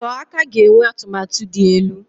Sọọ aka ga-enwe atụmatụ dị elu.